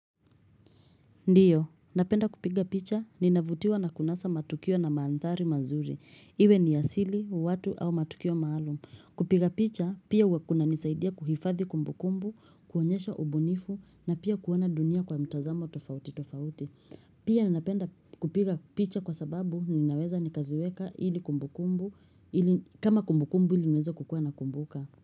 Ndiyo, napenda kupiga picha, ninavutiwa na kunasa matukio na maandhari mazuri. Iwe ni ya siri, watu au matukio maalum. Kupiga picha, pia juwa kuna nisaidia kuhifadhi kumbu kumbu, kuonyesha ubunifu, na pia kuwana dunia kwa mtazamo tofauti tofauti. Pia ninapenda kupiga picha kwa sababu, ninaweza nikaziweka ili kumbu kumbu, kama kumbu kumbu ili mweza kukua na kumbuka.